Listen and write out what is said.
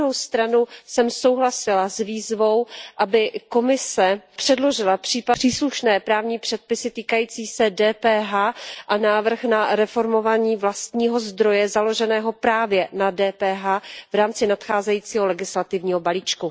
Na druhou stranu jsem souhlasila s výzvou, aby Evropská komise předložila příslušné právní předpisy týkající se DPH a návrh na reformování vlastního zdroje založeného právě na DPH v rámci nadcházejícího legislativního balíčku.